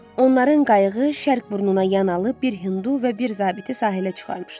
Onların qayığı şərq burnuna yan alıb bir Hindu və bir zabiti sahilə çıxarmışdı.